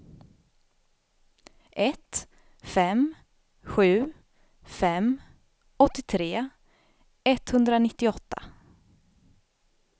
ett fem sju fem åttiotre etthundranittioåtta